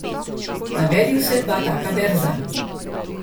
Navedi vsaj dva taka verza.